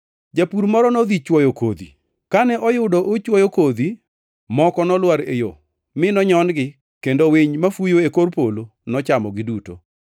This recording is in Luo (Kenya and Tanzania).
“Japur moro nodhi chwoyo kodhi. Kane oyudo ochwoyo kodhi, moko nolwar e yo mi nonyon-gi kendo winy mafuyo e kor polo nochamogi duto.